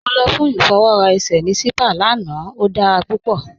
Mọ lọ fún ifọwọra èṣẹ̀ ní sípàá lána, o dára púpọ.